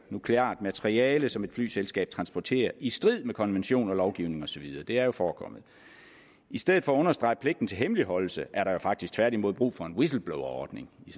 nukleart materiale som et flyselskab transporterer i strid med konventioner lovgivning osv det er jo forekommet i stedet for at understrege pligten til hemmeligholdelse er der faktisk tværtimod brug for en whistleblowerordning i